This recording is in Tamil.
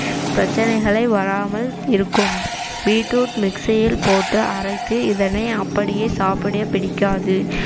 பிரச்சனைகளை வராமல் இருக்கும் beet root mixie இல் போட்டு அரைத்து இதனை அப்படியே சாப்பிடப் பிடிக்காது